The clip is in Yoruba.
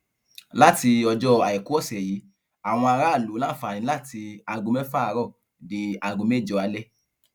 láti ọjọ àìkú ọsẹ yìí àwọn aráàlú láǹfààní láti aago mẹfà àárọ di aago mẹjọ alẹ